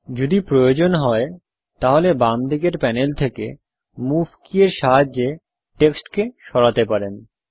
যদি প্রয়োজন হয় তাহলে বাম দিকের প্যানেল থেকে মুভ কি এর সাহায্যে টেক্সটকে সরাতে পারি